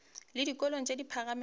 le dikolong tše di phagamego